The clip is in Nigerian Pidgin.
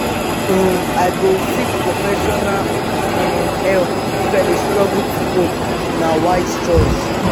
um i go seek professional um help if i dey struggle to cope; na wise choice.